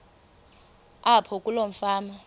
apho kuloo fama